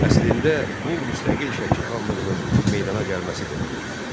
Əslində bu müstəqil Şəki xanlığının meydana gəlməsi demək idi.